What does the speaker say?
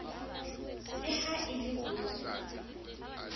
le ha e le ho